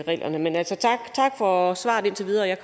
reglerne men tak for svaret indtil videre og jeg